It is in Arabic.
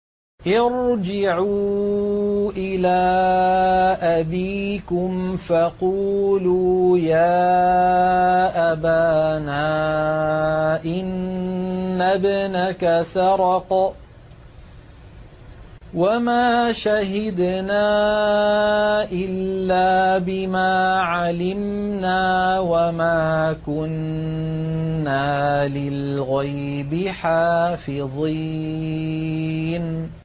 ارْجِعُوا إِلَىٰ أَبِيكُمْ فَقُولُوا يَا أَبَانَا إِنَّ ابْنَكَ سَرَقَ وَمَا شَهِدْنَا إِلَّا بِمَا عَلِمْنَا وَمَا كُنَّا لِلْغَيْبِ حَافِظِينَ